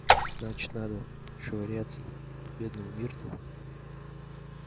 значит надо швыряться в бедную миртл